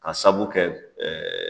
K'a sababu kɛ ɛɛ